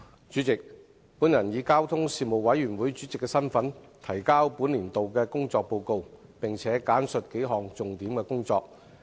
主席，本人以交通事務委員會主席身份，提交本年度的工作報告，並簡述數項重點工作。